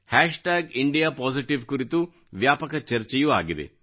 hash tag India positive ಕುರಿತು ವ್ಯಾಪಕ ಚರ್ಚೆಯೂ ಆಗಿದೆ